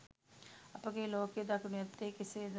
අපගේ ලෝකය දකිනු ඇත්තේ කෙසේද?